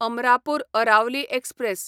Amarapur Aravali express